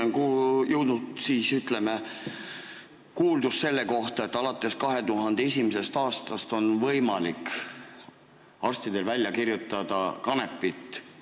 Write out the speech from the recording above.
Minu kõrvu on jõudnud, ütleme, kuuldus selle kohta, et alates 2001. aastast on arstidel olnud võimalik teatud haiguste puhul välja kirjutada kanepit.